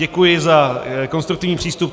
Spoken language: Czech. Děkuji za konstruktivní přístup.